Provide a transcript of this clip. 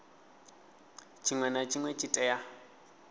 tshinwe na tshinwe tshi tea